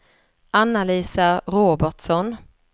Anna-Lisa Robertsson